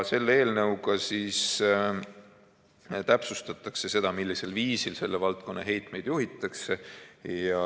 Selle eelnõuga täpsustatakse seda, millisel viisil selle valdkonna heitmeid juhitakse.